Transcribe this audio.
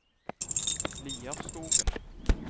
Lierskogen